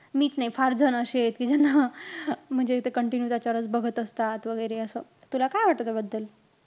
मीच नाई, फार जण अशी आहेत, कि ज्यांना म्हणजे ते contiune त्याच्यावरचं बघत असतात वैगेरेअसं. तुला काय वाटतं त्याबद्दल?